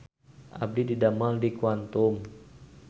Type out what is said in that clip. Abdi didamel di Quantum